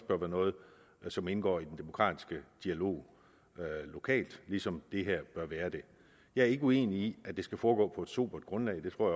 bør være noget som indgår i den demokratiske dialog lokalt ligesom det her bør være det jeg er ikke uenig i at det skal foregå på et sobert grundlag det tror